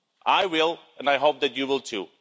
I will, and I hope that you will too.